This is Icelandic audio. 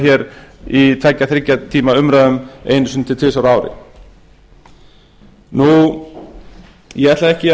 hér í tveggja þriggja tíma umræðum einu sinni til tvisvar á ári ég ætla ekki